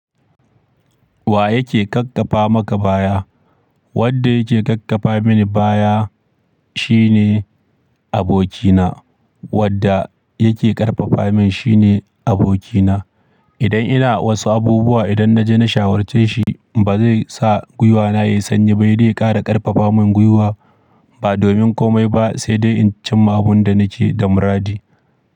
Wa yake ƙaƙƙafa maka baya? Wadde yake ƙaƙƙafa mini baya shine abokina. Wadda yake ƙarfafa min shine abokina. Idan ina wasu abubuwa, idan na je na shawarce shi, ba zai sa gwiwana ya sanyi ba, sai da yakara ƙarfafa min gwiwa ba domin komai ba sai dai in cimma abin da nake da muradi.